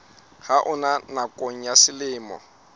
ha ona nakong ya selemo